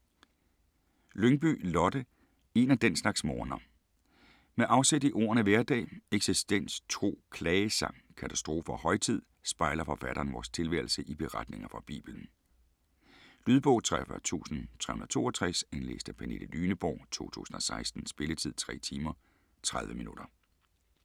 Lyngby, Lotte: En af den slags morgener Med afsæt i ordene hverdag, eksistens, tro, klagesang, katastrofe og højtid, spejler forfatteren vores tilværelse i beretninger fra Bibelen. Lydbog 43362 Indlæst af Pernille Lyneborg, 2016. Spilletid: 3 timer, 30 minutter.